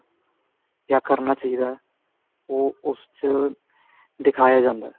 ਕਿਆ ਕਰਨਾ ਚਾਹੀਦਾ ਓ ਉਸ ਚ ਦਿਖਾਇਆ ਜਾਂਦਾ